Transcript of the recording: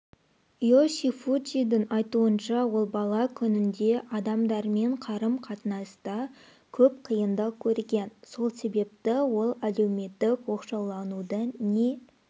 йошифуджидің айтуынша ол бала күнінде адамдармен қарым-қатынаста көп қиындық көрген сол себепті ол әлеуметтік оқшауланудың не